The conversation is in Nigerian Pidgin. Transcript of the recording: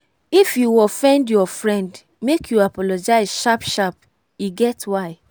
if you offend your friend make you apologize sharp-sharp e get why.